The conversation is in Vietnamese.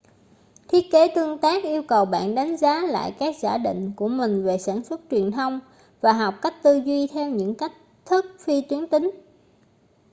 thiết kế tương tác yêu cầu bạn đánh giá lại các giả định của mình về sản xuất truyền thông và học cách tư duy theo những cách thức phi tuyến tính